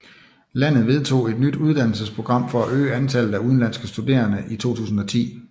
Landet vedtog et nyt uddannelsesprogram for at øge antallet af udenlandske studerende i 2010